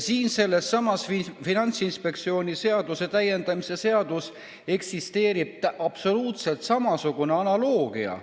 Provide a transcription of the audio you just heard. Sellessamas Finantsinspektsiooni seaduse täiendamise seaduses eksisteerib absoluutselt samasugune analoogia.